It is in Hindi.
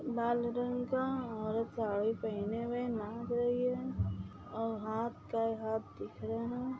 लाल रंग का औरत साडी पहने हुए नाच रही है।